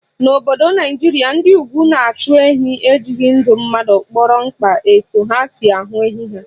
N'obodo Naijiria, ndị Ugwu na-achụ ehi ejighị ndụ mmadụ kpọrọ mkpa etu ha si ahụ ehi ha